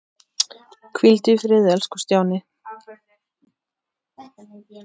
Hvíldu í friði elsku Stjáni.